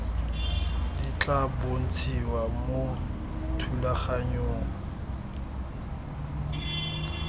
di tla bontshiwa mo thulaganyong